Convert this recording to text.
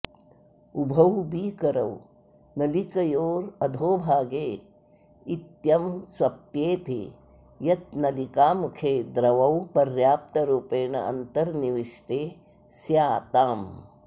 उभौ बीकरौ नलिकयोरधोभागे इत्यं स्वप्येते यत् नलिकामुखे द्रवौ पर्याप्तरूपेण अन्तर्निविष्टे स्याताम्